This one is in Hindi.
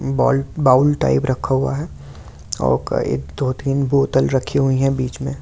बॉल बाउल टाइप रखा हुआ है और दो तीन बोतल रखी हुई है बीच में।